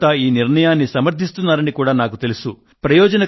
మీరంతా ఈ నిర్ణయాన్ని సమర్ధిస్తున్నారని కూడా నేనెరుగుదును